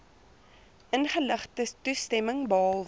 ingeligte toestemming behalwe